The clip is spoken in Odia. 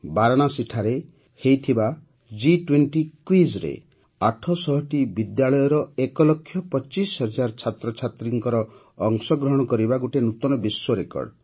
ବାରାଣାସୀଠାରେ ହୋଇଥିବା ଜି୨୦ କ୍ୱିଜ୍ରେ ୮୦୦ଟି ବିଦ୍ୟାଳୟର ଏକ ଲକ୍ଷ ୨୫ ହଜାର ଛାତ୍ରଛାତ୍ରୀଙ୍କର ଅଂଶଗ୍ରହଣ କରିବା ଗୋଟିଏ ନୂତନ ବିଶ୍ୱ ରେକର୍ଡ଼